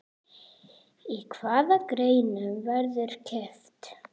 Í hvaða greinum verður keppt?